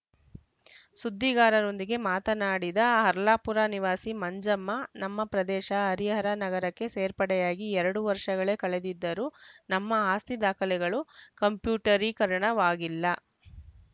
ಸುದ್ದಿಗಾರರೊಂದಿಗೆ ಮಾತನಾಡಿದ ಹರ್ಲಾಪುರ ನಿವಾಸಿ ಮಂಜಮ್ಮ ನಮ್ಮ ಪ್ರದೇಶ ಹರಿಹರ ನಗರಕ್ಕೆ ಸೇರ್ಪಡೆಯಾಗಿ ಎರಡು ವರ್ಷಗಳೇ ಕಳೆದಿದ್ದರೂ ನಮ್ಮ ಆಸ್ತಿ ದಾಖಲೆಗಳು ಕಂಪ್ಯೂಟರೀಕರಣವಾಗಿಲ್ಲ